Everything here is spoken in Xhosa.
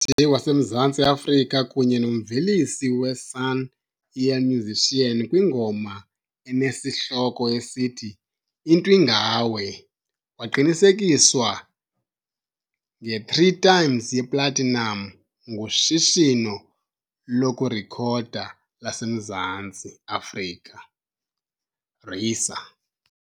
waseMzantsi Afrika kunye nomvelisi we-Sun-El Musician kwingoma enesihloko esithi, Into Ingawe, waqinisekiswa nge-three times yeplatinam nguShishino lokuRekhoda laseMzantsi Afrika RiSA.